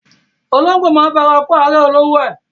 Ológbò máa ń fara kó árẹ̀ olówó ẹ.